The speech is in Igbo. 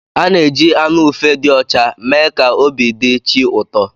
A na-eji anụ ufe dị ọcha mee ka obi dị chi ụtọ.